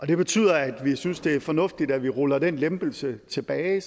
det betyder at vi synes det er fornuftigt at vi ruller den lempelse tilbage